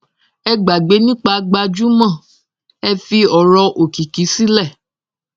ẹ gbàgbé nípa gbajúmọ ẹ fi ọrọ òkìkí sílẹ